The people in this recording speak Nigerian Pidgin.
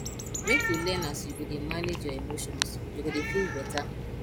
make you learn as you go dey manage your emotions you go dey feel beta